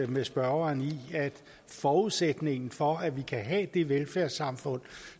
med spørgeren i at forudsætningen for at vi kan have det velfærdssamfund